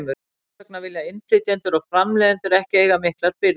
Þess vegna vilja innflytjendur og framleiðendur ekki eiga miklar birgðir.